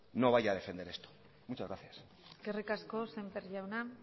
no vaya a defender esto muchas gracias eskerrik asko semper jaunak